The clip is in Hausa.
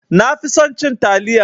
Nafi son cin taliya